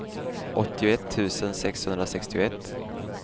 åttioett tusen sexhundrasextioett